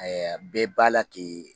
bɛɛ b'a la k'i